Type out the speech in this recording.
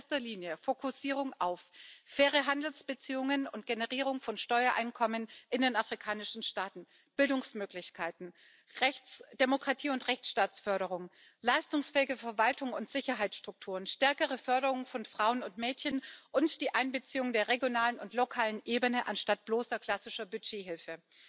Das heißt in erster Linie Fokussierung auf faire Handelsbeziehungen und Generierung von Steuereinkommen in den afrikanischen Staaten, Bildungsmöglichkeiten, Demokratie und Rechtsstaatsförderung, leistungsfähige Verwaltung und Sicherheitsstrukturen, stärkere Förderung von Frauen und Mädchen und die Einbeziehung der regionalen und lokalen Ebene anstatt bloßer klassischer Budgethilfe.